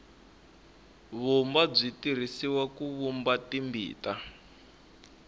vumba byi tirhisiwa ku vumba timbita